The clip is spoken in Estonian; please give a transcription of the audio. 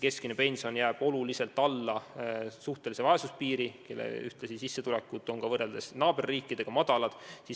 Keskmine pension jääb olulisel määral alla suhtelise vaesuse piiri ja võrreldes naaberriikidega on meie pensionäride sissetulekud väikesed.